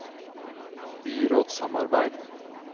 byrådssamarbeid